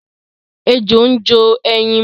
Ejò ń jó ẹyin mu.